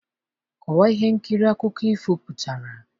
Kọwaa ihe nkiri akụkọ ifo pụtara?